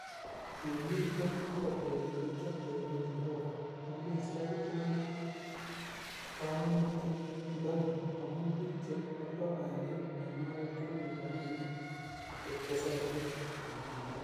'Kimiten ogot betut nekioteben Johova, amune sikai kokonon konunotiondoni, amun bik che oldo bandek en oret konyoru rabinik chetesotin,"kimwa muren